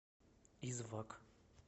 извак